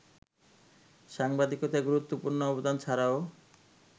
সাংবাদিকতায় গুরুত্বপূর্ণ অবদান ছাড়াও